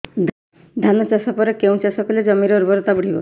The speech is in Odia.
ଧାନ ଚାଷ ପରେ କେଉଁ ଚାଷ କଲେ ଜମିର ଉର୍ବରତା ବଢିବ